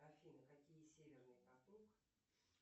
афина какие северный поток